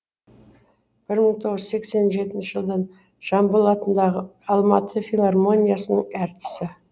бір мың тоғыз жүз сексен жетінші жылдан жамбыл атындағы алматы филармониясының әртісі